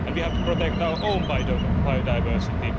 we have to protect our own biodiversity